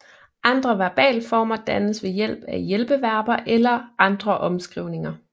Andre verbalformer dannes ved hjælp af hjælpeverber eller andre omskrivninger